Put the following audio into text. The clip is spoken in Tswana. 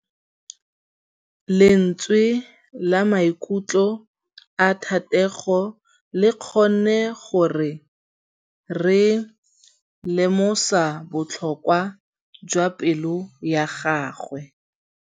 Lentswe la maikutlo a Thategô le kgonne gore re lemosa botlhoko jwa pelô ya gagwe.